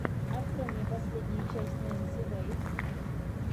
открой мне последнюю часть ненси вэйв